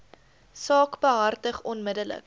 saak behartig onmiddellik